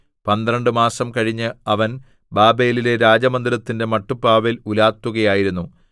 പന്ത്രണ്ട് മാസം കഴിഞ്ഞ് അവൻ ബാബേലിലെ രാജമന്ദിരത്തിന്റെ മട്ടുപ്പാവിൽ ഉലാത്തുകയായിരുന്നു